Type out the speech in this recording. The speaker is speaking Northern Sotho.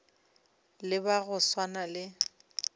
le ba go swana le